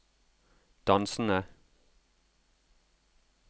dansende